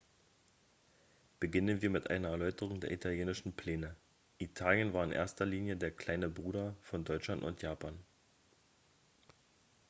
beginnen wir mit einer erläuterung der italienischen pläne italien war in erster linie der kleine bruder von deutschland und japan